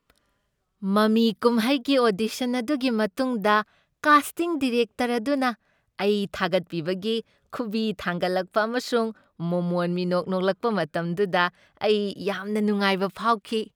ꯃꯃꯤ ꯀꯨꯝꯍꯩꯒꯤ ꯑꯣꯗꯤꯁꯟ ꯑꯗꯨꯒꯤ ꯃꯇꯨꯡꯗ ꯀꯥꯁꯇꯤꯡ ꯗꯤꯔꯦꯛꯇꯔ ꯑꯗꯨꯅ ꯑꯩ ꯊꯥꯒꯠꯄꯤꯕꯒꯤ ꯈꯨꯕꯤ ꯊꯥꯡꯒꯠꯂꯛꯄ ꯑꯃꯁꯨꯡ ꯃꯣꯃꯣꯟ ꯃꯤꯅꯣꯛ ꯅꯣꯛꯂꯛꯄ ꯃꯇꯝꯗꯨꯗ ꯑꯩ ꯌꯥꯝꯅ ꯅꯨꯡꯉꯥꯏꯕ ꯐꯥꯎꯈꯤ ꯫